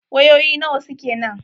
Wayoyi nawa suke nan?